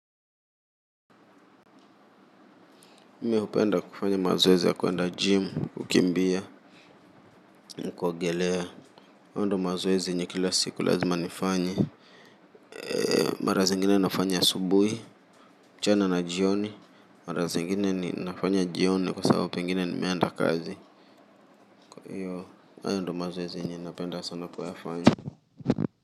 Mie hupenda kufanya mazoezi ya kuenda gym, kukimbia, na kuogelea. Hayo ndo mazoezi yenye kila siku lazima nifanye. Mara zingine nafanya asubuhi, mchana na jioni. Mara zingine ninafanya jioni kwa sababu pengine nimeenda kazi kwa hiyo, hayo ndo mazoezi yenye napenda sana kuyafanya.